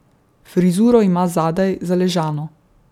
Frizuro ima zadaj zaležano.